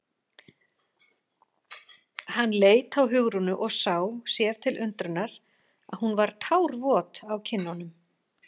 Hann leit á Hugrúnu og sá, sér til undrunar, að hún var tárvot á kinnunum.